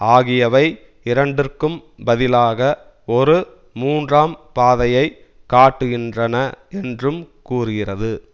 ஆகியவை இரண்டிற்கும் பதிலாக ஒரு மூன்றாம் பாதையை காட்டுகின்றன என்றும் கூறுகிறது